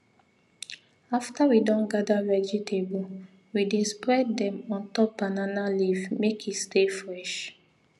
after we don gather vegetable we dey spread dem on top banana leaf make e stay fresh